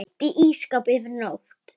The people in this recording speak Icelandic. Geymt í ísskáp yfir nótt.